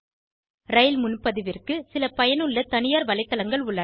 ரயில் முன்பதிவிற்கு சில பயனுள்ள தனியார் வலைத்தளங்கள் உள்ளன